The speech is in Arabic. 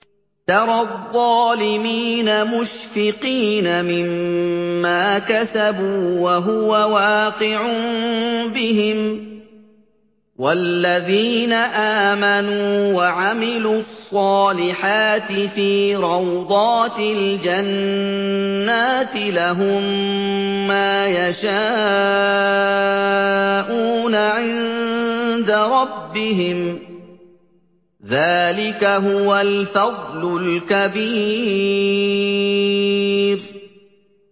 تَرَى الظَّالِمِينَ مُشْفِقِينَ مِمَّا كَسَبُوا وَهُوَ وَاقِعٌ بِهِمْ ۗ وَالَّذِينَ آمَنُوا وَعَمِلُوا الصَّالِحَاتِ فِي رَوْضَاتِ الْجَنَّاتِ ۖ لَهُم مَّا يَشَاءُونَ عِندَ رَبِّهِمْ ۚ ذَٰلِكَ هُوَ الْفَضْلُ الْكَبِيرُ